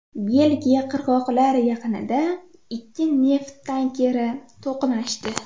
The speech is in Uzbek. Belgiya qirg‘oqlar yaqinida ikki neft tankeri to‘qnashdi.